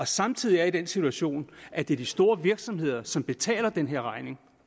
samtidig er i den situation at det er de store virksomheder som betaler den her regning